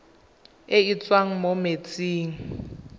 e e tswang mo metsing